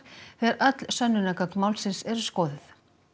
þegar öll sönnunargögn málsins eru skoðuð